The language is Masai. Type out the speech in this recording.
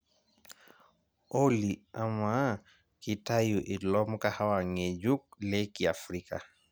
olly amaa kitayu ilo mkahawa ng'ejuk le kiafrika